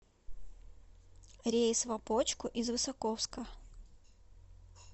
рейс в опочку из высоковска